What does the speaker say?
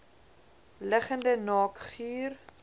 liggende naak guur